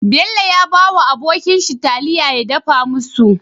Bello ya bawa abokin shi taliya ya dafa musu